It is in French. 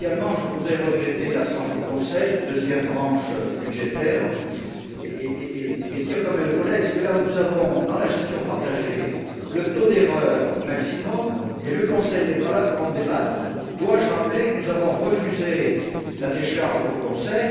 Je regrette également l'absence du Conseil, deuxième branche budgétaire, et dire comme mes collègues que c'est là où nous avons dans la gestion partagée le taux d'erreur maximum, et le Conseil n'est pas là pour en débattre. Dois je rappeler que nous avons refusé la décharge au Conseil?